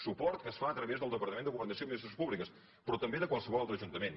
suport que es fa a través del departament de governació i administracions públiques però també de qualsevol altre ajuntament